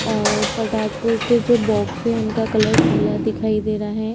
और पटाखों के जो बॉक्स है उनका कलर पीला दिखाई दे रहा हैं।